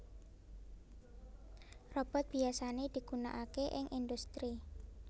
Robot biyasané digunanaké ing industri